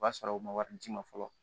O b'a sɔrɔ u ma wari d'i ma fɔlɔ